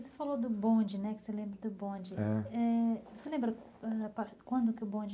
Você falou do bonde, né, que você lembra do bonde.